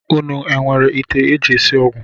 Unu enwere ite e ji esi ọgwụ